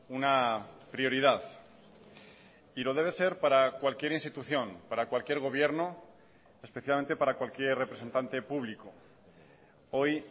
una prioridad y lo debe ser para cualquier institución para cualquier gobierno especialmente para cualquier representante público hoy